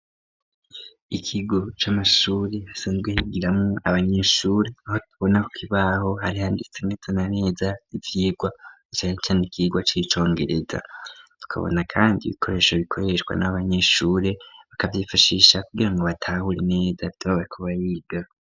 Ikigo c'amashure hasanzwe higiramwo abanyeshure aho tubona ku kibaho harihanditse neta na neza ivyigwa gusa handitsweho ikigwa c'icongereza tukabona kandi ibikoresho bikoreshwa n'abanyeshure bakavyifashisha kugira ngo batahure inida bakaba biga.